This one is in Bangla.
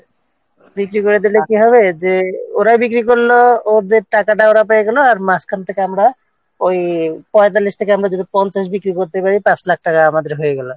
বিক্রি করে দিলে কী হবে যে ওরাই বিক্রি করল ওদের টাকাটা ওরা পেয়ে গেল আর মাঝখান থেকে আমরা ওই পয়েতাল্লিশ থেকে আমরা যদি পঞ্চাশে বিক্রি করতে পারি পাঁচ লাখ টাকা আমাদের হয়ে গেল